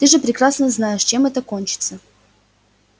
ты же прекрасно знаешь чем это кончится